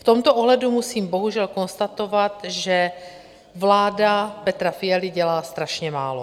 V tomto ohledu musím bohužel konstatovat, že vláda Petra Fialy dělá strašně málo.